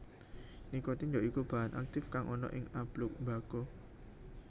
Nikotin ya iku bahan aktif kang ana ing abluk mbako